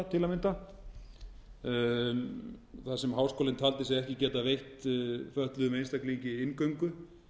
að mynda þar sem háskólinn taldi sig ekki geta veitt fötluðum einstaklingi inngöngu